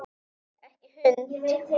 Ekki hund!